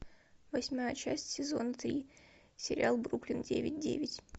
восьмая часть сезон три сериал бруклин девять девять